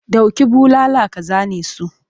Dauki bulala ka zane su!